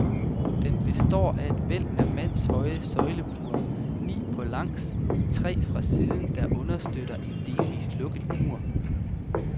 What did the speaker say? Den består af et væld af mandshøje søjlebuer, ni på langs og tre fra siden, der understøtter en delvist lukket mur.